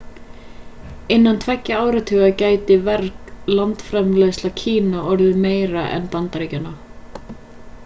innan tveggja áratuga gæti verg landsframleiðsla kína orðið meiri en bandaríkjanna